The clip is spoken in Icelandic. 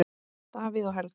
Davíð og Helga.